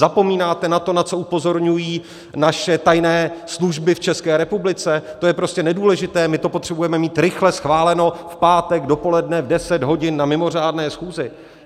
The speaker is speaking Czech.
Zapomínáte na to, na co upozorňují naše tajné služby v České republice, to je prostě nedůležité, my to potřebujeme mít rychle schváleno v pátek dopoledne v 10 hodin na mimořádné schůzi.